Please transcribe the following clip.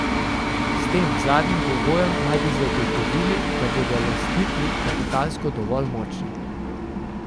S tem zadnjim pogojem naj bi zagotovili, da bodo lastniki kapitalsko dovolj močni.